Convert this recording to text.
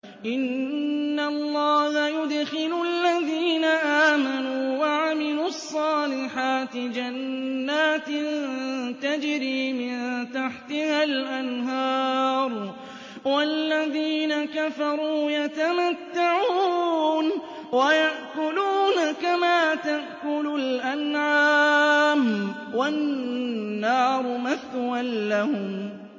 إِنَّ اللَّهَ يُدْخِلُ الَّذِينَ آمَنُوا وَعَمِلُوا الصَّالِحَاتِ جَنَّاتٍ تَجْرِي مِن تَحْتِهَا الْأَنْهَارُ ۖ وَالَّذِينَ كَفَرُوا يَتَمَتَّعُونَ وَيَأْكُلُونَ كَمَا تَأْكُلُ الْأَنْعَامُ وَالنَّارُ مَثْوًى لَّهُمْ